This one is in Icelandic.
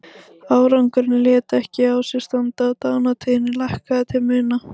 Árangurinn lét ekki á sér standa og dánartíðni lækkaði til muna.